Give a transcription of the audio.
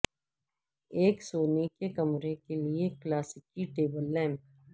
ایک سونے کے کمرے کے لئے کلاسیکی ٹیبل لیمپ